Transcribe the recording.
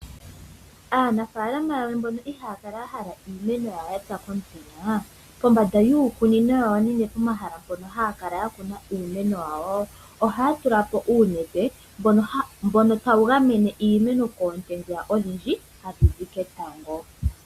Aanafalama yamwe mbono ihaaya kala yahala iimeno yawo yapya komutenya, pombanda yiikunino yawo, nenge pomahala mpono haya kala yakuna iimeno yawo, ohaya tulapo uunete, mbono tawu gamene iimeno koonte dhiya odhindji, hadhi zi ketango.